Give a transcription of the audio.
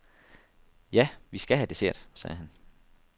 Ja, vi skal have dessert, sagde han.